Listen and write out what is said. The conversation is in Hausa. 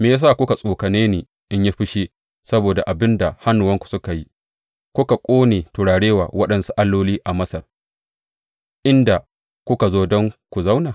Me ya sa kuka tsokane ni in yi fushi saboda abin da hannuwanku suka yi, kuna ƙone turare wa waɗansu alloli a Masar, inda kuka zo don ku zauna?